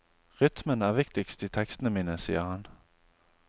Rytmen er viktigst i tekstene mine, sier han.